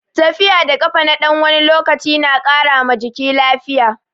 Tafiya da kafa na ɗan wani lokaci na ƙara ma jiki lafiya.